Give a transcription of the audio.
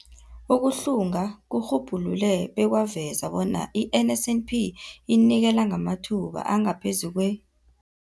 Ukuhlunga kurhubhulule bekwaveza bona i-NSNP inikela ngamathuba angaphezulu kwe-